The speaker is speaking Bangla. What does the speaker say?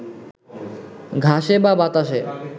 ঘাসে বা বাতাসে